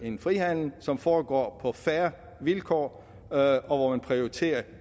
en frihandel som foregår på fair vilkår og hvor man prioriterer